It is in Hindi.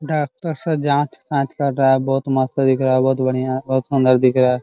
डाक्टर सब जांच-तांच कर रहा है बहुत मस्त दिख रहा है बहुत बढ़िया बहुत सुंदर दिख रहा है।